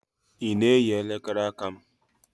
Ị na-eyi elekere aka m?